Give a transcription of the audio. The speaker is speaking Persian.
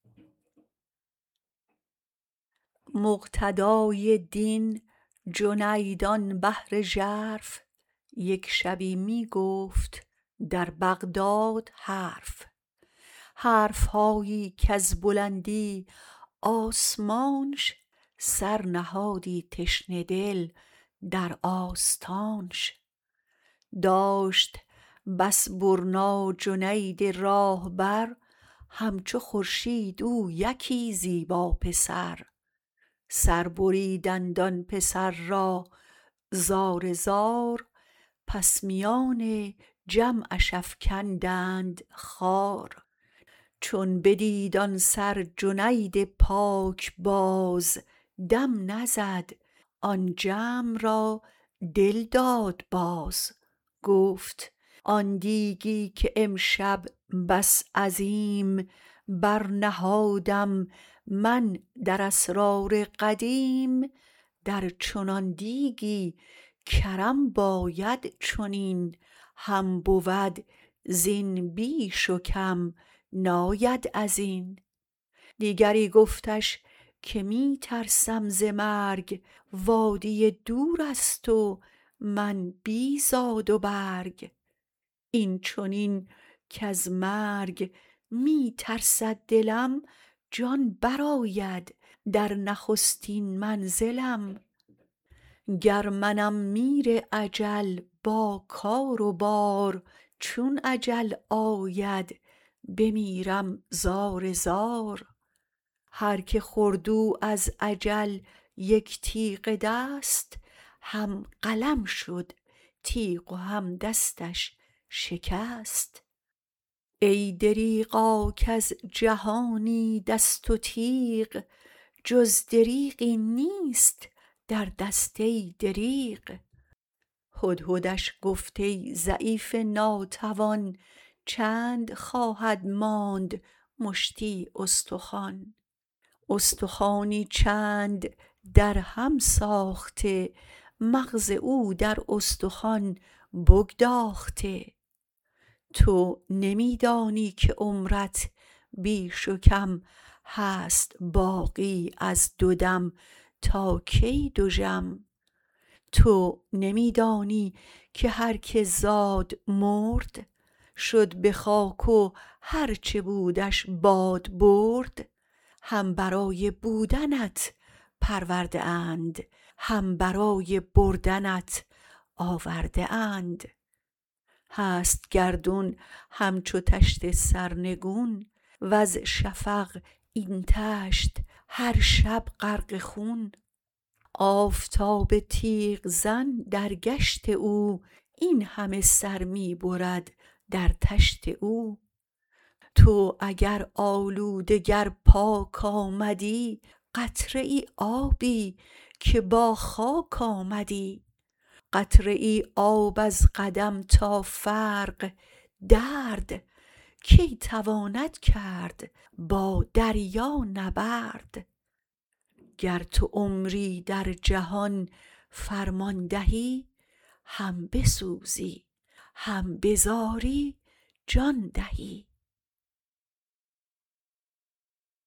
مقتدای دین جنید آن بحر ژرف یک شبی می گفت در بغداد حرف حرفهایی کز بلندی آسمانش سرنهادی تشنه دل در آستانش داشت بس برنا جنید راه بر هم چو خورشید او یکی زیبا پسر سر بریدند آن پسر را زار زار پس میان جمعش افکندند خوار چون بدید آن سر جنید پاک باز دم نزد آن جمع را دل داد باز گفت آن دیگی که امشب بس عظیم برنهادم من در اسرار قدیم در چنان دیگی گرم باید چنین هم بود زین بیش و کم ناید ازین دیگری گفتش که می ترسم ز مرگ وادی دورست و من بی زاد و برگ این چنین کز مرگ می ترسد دلم جان برآید در نخستین منزلم گر منم میر اجل با کار و بار چون اجل آید بمیرم زار زار هرکه خورد او از اجل یک تیغ دست هم قلم شد تیغ و هم دستش شکست ای دریغا کز جهانی دست و تیغ جز دریغی نیست در دست ای دریغ هدهدش گفت ای ضعیف ناتوان چند خواهد ماند مشتی استخوان استخوانی چند در هم ساخته مغز او در استخوان بگداخته تو نمی دانی که عمرت بیش و کم هست باقی از دو دم تا کی دژم تو نمی دانی که هرکه زاد مرد شد به خاک و هرچ بودش باد برد هم برای بودنت پرورده اند هم برای بردنت آورده اند هست گردون هم چو طشت سرنگون وز شفق این طشت هر شب غرق خون آفتاب تیغ زن در گشت او این همه سر می برد در طشت او تو اگر آلوده گر پاک آمدی قطره آبی که با خاک آمدی قطره آب از قدم تا فرق درد کی تواند کرد با دریا نبرد گر تو عمری در جهان فرمان دهی هم بسوزی هم بزاری جان دهی